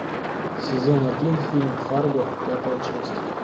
сезон один фильм фарго пятая часть